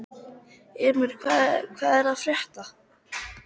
Emir, hvað er að frétta?